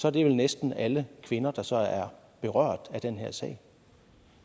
er det vel næsten alle kvinder der så er berørt af den her sag